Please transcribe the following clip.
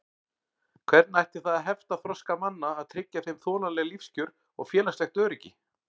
Hvernig ætti það að hefta þroska manna að tryggja þeim þolanleg lífskjör og félagslegt öryggi?